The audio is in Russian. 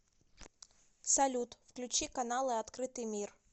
салют включи каналы открытый мир